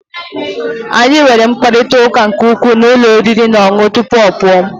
anyị nwere mkparịta ụka nke ukwuu na ụlọ oriri na ọṅụṅụ tupu ọ pụọ